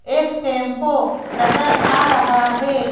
एक टेंपो नजर आ रहा है।